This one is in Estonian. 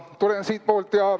Tulen siitpoolt.